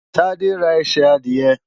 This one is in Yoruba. Tádé ra ẹsẹ̀ adìẹ.